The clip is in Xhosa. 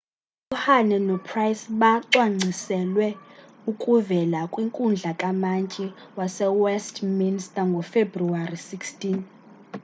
uhuhne nopryce bacwangciselwe ukuvela kwinkundla kamantyi yasewestminster ngofebruwari 16